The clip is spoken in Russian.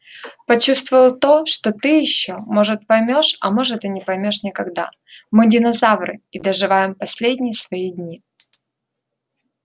почувствовал то что ты ещё может поймёшь а может и не поймёшь никогда мы динозавры и доживаем последние свои дни